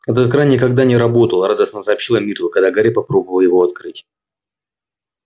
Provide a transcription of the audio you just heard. этот кран никогда не работал радостно сообщила миртл когда гарри попробовал его открыть